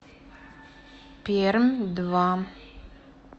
пермь два